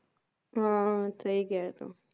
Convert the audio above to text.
ਹੁੰ ਹੁੰ ਸਹੀ ਕਿਹਾ